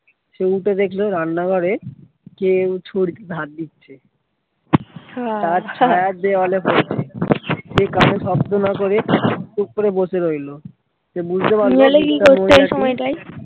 সে উঠে দেখলো রান্না ঘরে কেউ চুরিতে ধার দিচ্ছে ছায়া দেওয়ালে পড়ছে। সে কানে শব্দ না করে চুপ করে বসে রইলো